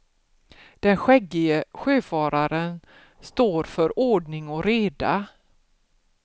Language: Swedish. Den skäggige sjöfararen står för ordning och reda.